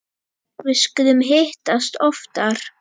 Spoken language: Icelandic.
Við skulum hittast oftar